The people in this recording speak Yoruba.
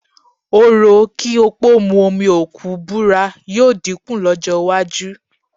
Orò kí òpó mu omi òkú búra yóò dínkù lọ́jọ́ iwájú